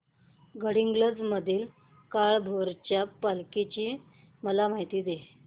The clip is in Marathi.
गडहिंग्लज मधील काळभैरवाच्या पालखीची मला माहिती दे